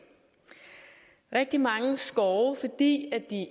er rigtig mange skove fordi